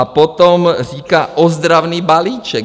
A potom říká: ozdravný balíček.